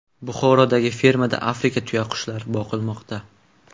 Buxorodagi fermada Afrika tuyaqushlari boqilmoqda.